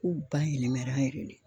K'u bayɛlɛmɛla yɛrɛ de.